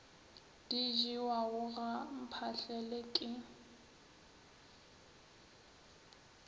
di jewago ga mphahlele ke